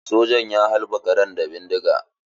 Sojan ya halbe karan da bindiga.